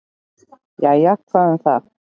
"""Jæja, hvað um það."""